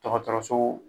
Dɔgɔtɔrɔso